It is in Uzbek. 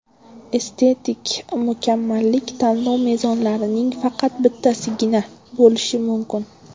Estetik mukammallik tanlov mezonlarining faqat bittasigina bo‘lishi mumkin.